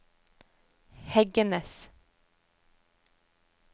Heggenes